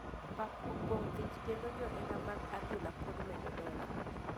Pap opong thich kendo johera mag adhula pod medo donjo